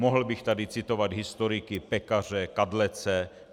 Mohl bych tady citovat historiky Pekaře, Kadlece.